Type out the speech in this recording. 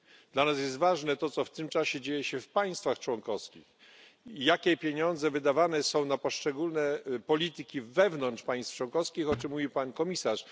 Dla nas jest ważne to, co w tym czasie dzieje się w państwach członkowskich i jakie pieniądze wydawane są na poszczególne polityki wewnątrz państw członkowskich, o czym mówił pan komisarz.